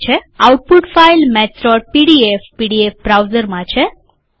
output file maths PDF PDF બ્રાઉઝરમાં છે